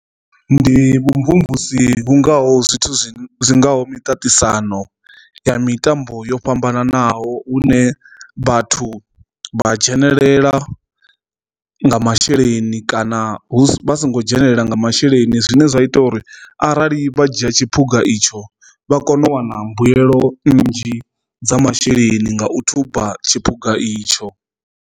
Ndi vhumvumvusi kungaho zwithu zwi ngaho miṱaṱisano ya mitambo yo fhambananaho hune vhathu vha dzhenelela nga masheleni kana hu vha songo dzhenelela nga masheleni zwine zwa ita uri arali vha dzhia tshiphuga itsho vha kone u wana mbuyelo nnzhi dza masheleni nga u thuba tshipuga itsho.